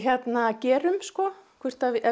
gerum sko hvort